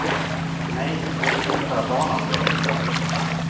Nej, vi vill införa barnavdrag i stället.